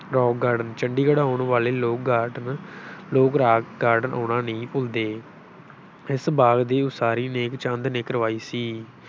Rock garden Chandigarh ਆਉਣ ਵਾਲੇ ਲੋਕ garden ਲੋਕ ਰਾਕ garden ਆਉਣਾ ਨਹੀਂ ਭੁੱਲਦੇ, ਇਸ ਬਾਗ਼ ਦੀ ਉਸਾਰੀ ਨੇਕਚੰਦ ਨੇ ਕਰਵਾਈ ਸੀ।